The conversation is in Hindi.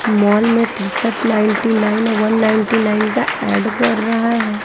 मॉल में टी_शर्ट नाइटी नाईन और वन नाइटी नाइन का ऐड कर रहा है।